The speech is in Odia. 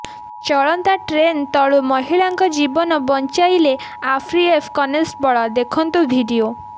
ଚଳନ୍ତା ଟ୍ରେନ୍ ତଳୁ ମହିଳାଙ୍କ ଜୀବନ ବଞ୍ଚାଇଲେ ଆର୍ପିଏଫ୍ କନେଷ୍ଟବଳ ଦେଖନ୍ତୁ ଭିଡିଓ